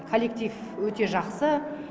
коллектив өте жақсы